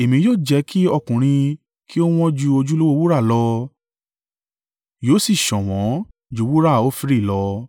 Èmi yóò jẹ́ kí ọkùnrin kí ó wọn ju ojúlówó wúrà lọ, yóò sì ṣọ̀wọ́n ju wúrà Ofiri lọ.